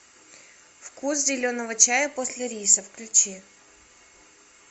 вкус зеленого чая после риса включи